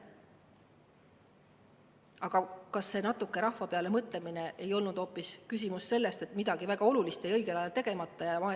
Aga kas selle natuke rahva peale mõtlemise puhul ei olnud asi hoopis selles, et midagi väga olulist jäi õigel ajal tegemata?